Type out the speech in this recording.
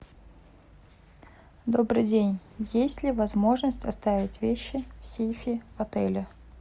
добрый день есть ли возможность оставить вещи в сейфе отеля